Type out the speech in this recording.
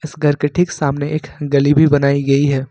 इस घर के ठीक सामने एक गली भी बनाई गई है।